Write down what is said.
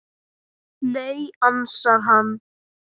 Nei, ansar hann.